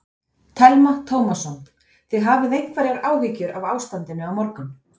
Telma Tómasson: Þið hafið einhverjar áhyggjur af ástandinu á morgun?